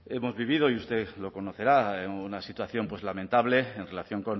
decir hemos vivido y usted lo conocerá una situación pues lamentable en relación